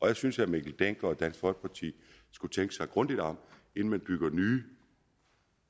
jeg synes herre mikkel dencker og dansk folkeparti skulle tænke sig grundigt om inden man bygger